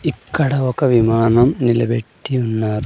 ఇక్కడ ఒక విమానం నిలబెట్టి ఉన్నారు.